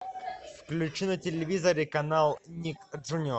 включи на телевизоре канал ник джуниор